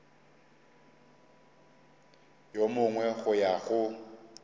yo mongwe go ya go